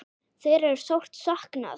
Þeirra er sárt saknað.